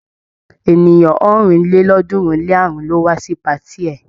Ènìyàn ọ̀rìnlélọ́ọ̀ọ́dúnrún-lé-àrún ló wá sí patí ẹ.